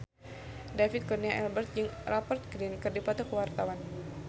David Kurnia Albert jeung Rupert Grin keur dipoto ku wartawan